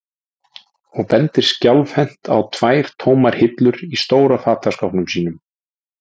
og bendir skjálfhent á tvær tómar hillur í stóra fataskápnum sínum.